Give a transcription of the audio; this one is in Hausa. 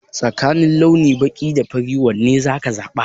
Tsakanin launi baƙi da fari wane za ka zaɓa?